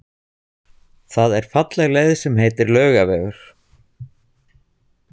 Það er falleg leið sem heitir Laugavegur.